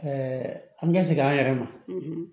an ka segin an yɛrɛ ma